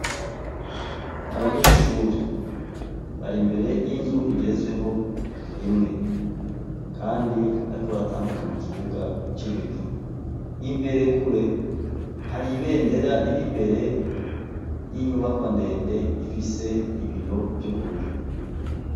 Abanyeshuri bar'imbere y'inzu igeretsweho rimwe kandi bariko baratambuka mu kibuga c'ibivu imbere kure hari ibendera riri mbere y'inyubako ndende ifise ibiyo vy'ubururu